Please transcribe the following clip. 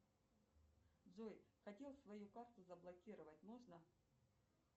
джой хотел свою карту заблокировать можно